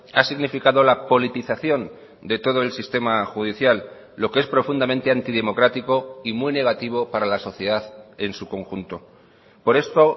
ha significado la politización de todo el sistema judicial lo que es profundamente antidemocrático y muy negativo para la sociedad en su conjunto por esto